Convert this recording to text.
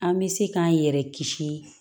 An bɛ se k'an yɛrɛ kisi